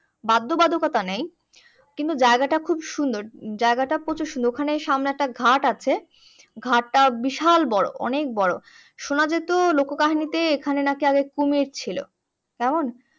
বাদ্য বাদকতা নেই। কিন্তু জায়গাটা খুব সুন্দর জায়গাটা প্রচুর সুন্দর ওখানে সামনে একটা ঘাট আছে ঘাটটা বিশাল বড়ো অনেক বড়ো শোনা যেত লোকো কাহিনীতে এখানে নাকি আগে কুমির ছিল কেমন